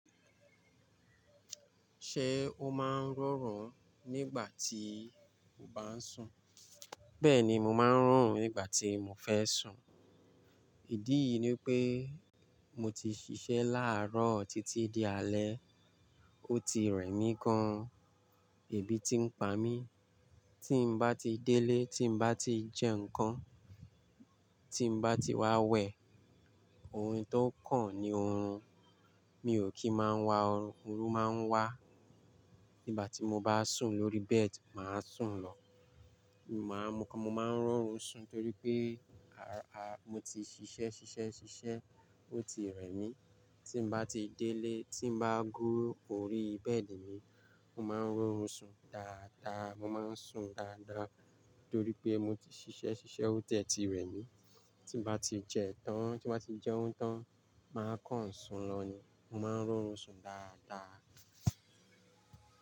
Ṣé o máa ń rọrùn nígbà tí o bá ń sùn? Bẹ́ẹ̀ni, mo máa ń rọ rùn nígbà tí mo fẹ́ sùn. Ìdí yìí ni pé, mo ti ṣiṣẹ́ láàárọ̀ títí di alẹ́, ó ti rẹ̀ mí gan-an. Èébì tí ń pa mí, tí mo bá ti délé, tí mo bá ti jẹ nǹkan, tí mo bá ti wá wẹ̀, ohun tó kàn ní oorun, mi ò kí máa wa oorun. Oorun máa ń wá nígbà tí mo bá sùn lórí bẹ́ẹ̀dì, mo máa sùn lọ. Mo máa ń rọrùn sun torí pé mo ti ṣiṣẹ́, ṣiṣẹ́, ṣiṣẹ́, ó ti rẹ̀ mí. Tí mo bá ti délé, tí mo bá gún órí bẹ́ẹ̀dì mi, mo máa ń ri orùn sun dáadáa. Mo máa ń sùn dáadáa nitorí pé mo ti ṣiṣẹ́, ṣiṣẹ́, ó tẹ̀ ti rẹ̀ mí. Tí mo bá ti jẹ́ oúnjẹ tán, màá kàn sùn lọ ni. Mo máa ń rọrùn sun dáadáa.